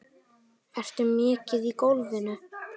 Ertu mikið í golfinu?